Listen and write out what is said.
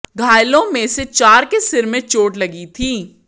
घायलों में से चार के सिर में चोट लगी थी